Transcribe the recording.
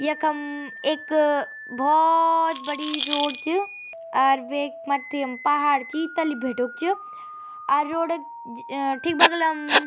यखम इक भौ बड़ी रोड च और वेक मथ्थी म पहाड़ छी तल्ली भिटुक च अर रोड क ठीक बगल अम् --